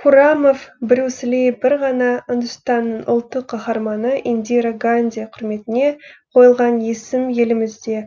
хуррамов брюс ли бір ғана үндістанның ұлттық қахарманы индира ганди құрметіне қойылған есім елімізде